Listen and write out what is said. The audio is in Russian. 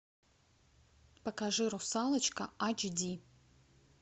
покажи русалочка ач ди